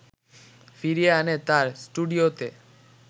ফিরিয়ে আনে তাঁর স্টুডিওতে